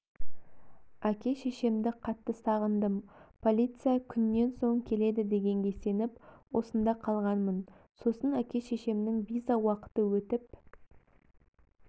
әке-шешемді қатты сағындым полиция күннен соң келеді дегенге сеніп осында қалғанмын сосын әке-шешемнің виза уақыты өтіп